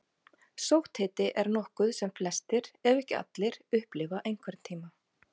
Sótthiti er nokkuð sem flestir, ef ekki allir, upplifa einhvern tíma.